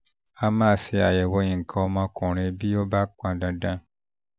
a máa ń ṣe àyẹ̀wò nǹkan ọmọkùnrin bí ó bá pọn dandan